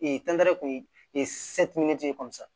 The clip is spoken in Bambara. kun ye